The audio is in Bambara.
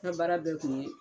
Nka baara bɛ kun ye.